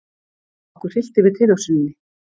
Okkur hryllti við tilhugsuninni.